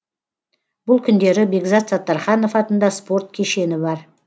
бұл күндері бекзат саттарханов атында спорт кешені бар